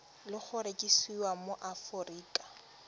le go rekisiwa mo aforika